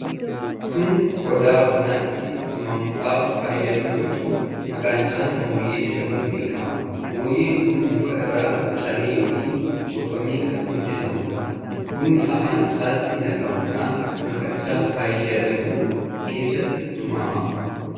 Kun qodaa buna itti tumuudhaaf fayyadu yoo ta'u, maqaan isaa moonyee jedhamuun beekama. Moonyeen kun muka irraa bocamee yookiin soofamee kan hojjetamuudha. Bunni afaan isaatti naqamuudhaan muka isaa fayyadamuun keessatti tumama.